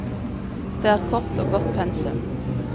Det er kort og godt pensum.